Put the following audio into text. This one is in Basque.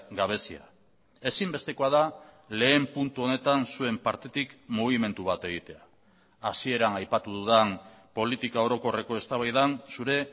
gabezia ezinbestekoa da lehen puntu honetan zuen partetik mugimendu bat egitea hasieran aipatu dudan politika orokorreko eztabaidan zure